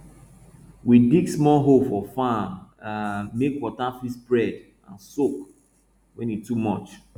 we dig small hole for farm um make water fit spread and soak when e too much